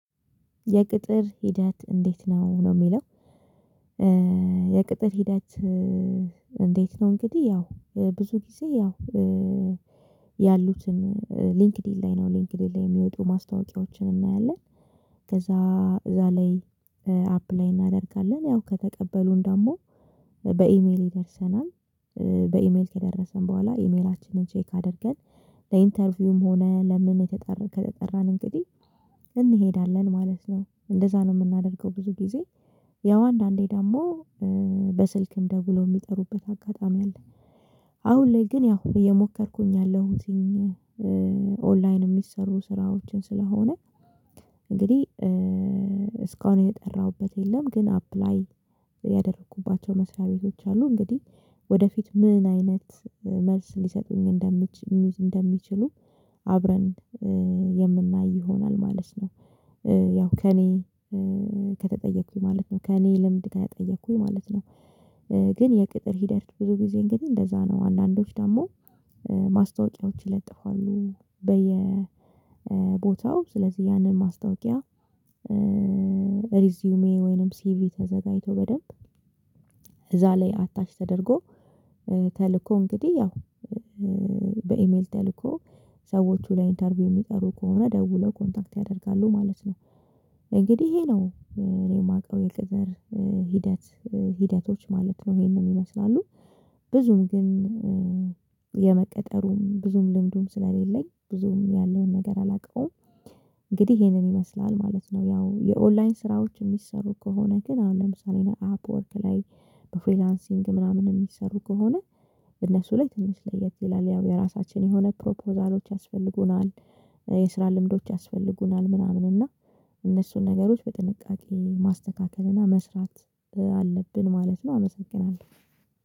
የቅጥር ሂደት እንዴት ነው ነው የሚለው? የቅጥር ሂደት? እንዴት ነው እንግዲህ ያው ብዙ ጊዜ ያው ያሉትን ሊንክድኢን ላይ ነው ሊንክድኢን ላይ የሚወጡ ማስታወቂያዎችን እናያለን። ከዛ እዛ ላይ አፕላይ እናደርጋለን ያው ከተቀበሉን ደግሞ በኢሜል ይደርሰናል። በኢሜል ከደረሰን በኋላ ኢሜላችንን ቼክ አድርገን ለኢንተርቪውም ሆነ ለምን ከተጠራን እንግዲህ እንሄዳለን ማለት ነው። እንደዛ ነው የምናደርገው ብዙ ጊዜ። ያው አንዳንዴ ደግሞ በስልክም ደውለው የሚጠሩበት አጋጣሚ አለ። አሁን ላይ ግን ያው እየሞከርኩኝ ያለሁትኝ ኦንላይን የሚሰሩ ስራዎችን ስለሆነ። እንግዲህ እስካሁን የጠራሁበት የለም። ግን አፕላይ ያደረኩባቸው መስሪያ ቤቶች አሉ። እንግዲህ ወደፊት ምን አይነት መልስ ሊሰጡኝ እንደሚችሉ አብረን የምናይ ይሆናል ማለት ነው። ያው ከእኔ ከተጠየኩኝ ማለት ነው ከእኔ ልምድ ከተጠየኩኝ ማለት ነው። ግን የቅጥር ሂደት ብዙ ጊዜ እንግዲህ እንደዛ ነው። አንዳንዶች ደግሞ ማስታወቂያዎች ይለጥፋሉ በየቦታው ስለዚህ ያንን ማስታወቂያ። ሪዚዩሜ ወይንም ሲቪ ተዘጋጅቶ በደንብ እዛ ላይ አታች ተደርጎ ተልኮ እንግዲህ ያው በኢሜል ተልኮ ሰዎቹ ለ ኢንተርቪው የሚጠሩ ከሆነ ደውለው ኮንታክት ያደርጋሉ ማለት ነው። እንግዲህ ይሄ ነው የማውቀው የቅጥር ሂደት ሂደቶች ማለት ነው። ይሄንን ይመስላሉ። ብዙም ግን የመቀጠሩም ብዙም ልምዱም ስለሌለኝ ብዙም ያለውን ነገር አላውቀውም። እንግዲህ ይሄንን ይመስላል ማለት ነው። ያው የኦንላይን ስራዎች የሚሰሩ ከሆነ ግን አሁን ለምሳሌ እኔ አፕወርክ ላይ በፍሪላንሲንግ ምናምን የሚሰሩ ከሆነ እነሱ ላይ ትንሽ ለየት ይላል ያው የራሳችን የሆነ ፕሮፖዛሎች ያስፈልጉናል። የስራ ልምዶች ያስፈልጉናል ምናምን እና እነሱን ነገሮች በጥንቃቄ ማስተካከል እና መስራት አለብን ማለት ነው። አመሰግናለሁ።